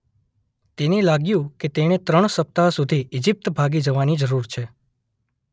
તેને લાગ્‍યું કે તેણે ત્રણ સપ્તાહ સુધી ઇજિપ્ત ભાગી જવાની જરૂર છે.